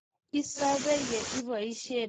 isobe ye iboisien keri hel che kakonik kipkerichonde